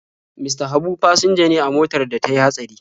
Mista Habu fasinja ne a motar da ta yi hatsari.